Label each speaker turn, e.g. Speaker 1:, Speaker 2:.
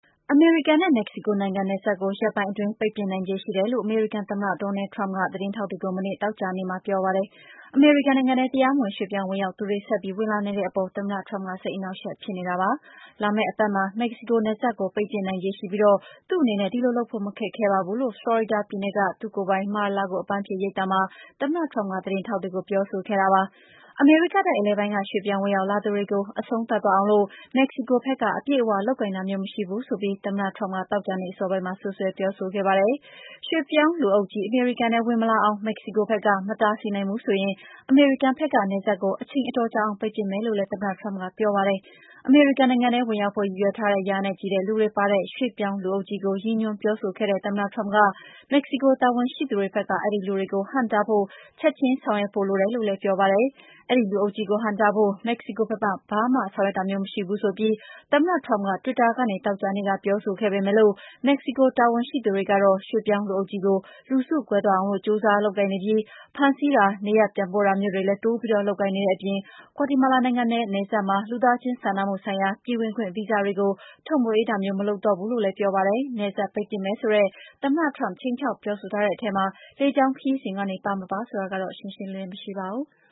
Speaker 1: အမေရိကန်နဲ့ မက္ကဆီကိုနိုင်ငံ နယ်စပ်ကို ရက်ပိုင်းအတွင်း ပိတ်ပစ်နိုင်ခြေရှိတယ်လို့ အမေရိကန်သမ္မတ Donald Trump က သတင်းထောက်တွေကို မနေ့ သောကြာနေ့က ပြောပါတယ်။ အမေရိကန်နိုင်ငံထဲ တရားမဝင် ရွှေ့ပြောင်းဝင်ရောက်သူတွေ ဆက်ပြီးဝင်လာနေတဲ့အပေါ် သမ္မတ Trump စိတ်အနှောင့်အယှက် ဖြစ်နေတာပါ။ လာမယ့် တပတ်မှာ မက္ကဆီနယ်စပ်ကို ပိတ်ပစ်နိုင်ခြေရှိပြီး သူ့အနေနဲ့ ဒီလိုလုပ်ဖို့ မခက်ခဲပါဘူးလို့ ဖလော်ရီဒါပြည်နယ်က သူ့ကိုယ်ပိုင် Mar-a-Lago အပန်းဖြေရိပ်သာမှာ သမ္မတ Trump ကသတင်းထောက်တွေကို ပြောဆိုခဲ့တာပါ။ အမေရိကတိုက် အလယ်ပိုင်းက ရွှေ့ပြောင်း ဝင်ရောက်လာသူတွေကို အဆုံးသတ်သွားအောင် မက္ကဆီကိုဘက်က အပြည့်အ၀ လုပ်ကိုင်တာမျိုး မရှိဘူးဆိုပြီး သမ္မတ Trump က သောကြာနေ့ အစောပိုင်းမှာ စွပ်စွဲပြောဆိုခဲ့ပါတယ်။ ရွှေ့ပြောင်းလူအုပ်ကြီး အမေရိကန်ထဲ ဝင်မလာအောင် မက္ကဆီကိုဘက်က မတားဆီးနိုင်ဘူးဆိုရင် အမေရိကန်ဘက်က နယ်စပ်ကို အချိန်အတော်ကြာအောင် ပိတ်ပစ်မယ်လို့လည်း သမ္မတ Trump ကပြောပါတယ်။ အမေရိကန်နိုင်ငံထဲ ဝင်ရောက်ဖို့ ရည်ရွယ်ထားတဲ့ ရာနဲ့ချီတဲ့သူတွေပါတဲ့ ရွှေ့ပြောင်းလူအုပ်ကြီးကို ရည်ညွှန်းပြောဆိုခဲ့တဲ့ သမ္မတ Trump က မက္ကဆီတာဝန်ရှိသူတွေဘက်က အဲဒီလူတွေကို ဟန့်တားဖို့ ချင်ချင်းဆောင်ရွက်ဖို့ လိုတယ်လို့လည်း ပြောပါတယ်။ အဲဒီလူအုပ်ကြီးကို ဟန့်တားဖို့ မက္ကဆီကိုဘက်က ဘာမှဆောင်ရွက်တာမရှိဘူးဆိုပြီး သမ္မတ Trump က Twitter ကနေ သောကြာနေ့က ပြောဆိုပေမယ့် မက္ကဆီကိုတာဝန်ရှိသူတွေကတော့ ရွှေ့ပြောင်းလူအုပ်ကြီးကို လူစုကွဲသွားအောင် ကြိုးစားလုပ်ကိုင်နေပြီး ဖမ်းဆီးတာ၊ နေရပ်ပြန်ပို့တာမျိုးလည်း တိုးပြီး လုပ်ကိုင်နေတဲ့အပြင် ဂွါတီမာလာနိုင်ငံနဲ့ နယ်စပ်မှာ လူသားချင်း စာနာမှုဆိုင်ရာ ပြည်ဝင်ခွင့် ဗီဇာတွေကိုလည်း ထုတ်မပေးတော့ဘူးလို့ ပြောပါတယ်။ နယ်စပ် ပိတ်ပစ်မယ်ဆိုတဲ့ သမ္မတ Trump ခြိမ်းခြောက်ပြောဆိုထားတဲ့ အထဲမှာ လေကြောင်းခရီးစဉ်တွေ ပါ-မပါဆိုတာကတော့ ရှင်းရှင်းလင်းလင်း မရှိပါဘူး။